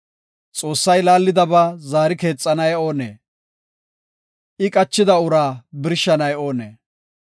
Xoossay laallidaba zaari keexanay oonee? I qachida uraa birshanay oonee?